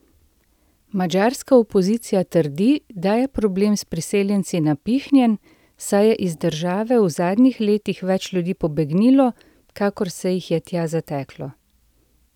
Madžarska opozicija trdi, da je problem s priseljenci napihnjen, saj je iz države v zadnjih letih več ljudi pobegnilo, kakor se jih je tja zateklo.